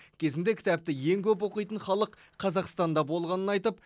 кезінде кітапты ең көп оқитын халық қазақстанда болғанын айтып